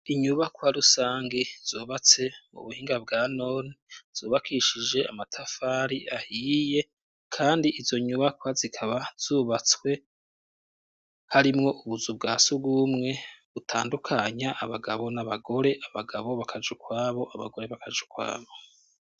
inyubakwa rusangi zubatse mu buhinga bwa none, zubakishije amatafari ahiye, kandi izo nyubakwa zikaba zubatswe harimwo ubuzu bwa sugumwe ,butandukanya abagabo n'abagore ,abagabo bakaja ukwabo abagore bakaja ukwabo.